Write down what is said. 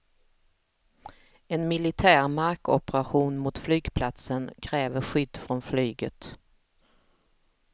En militär markoperation mot flygplatsen kräver skydd från flyget.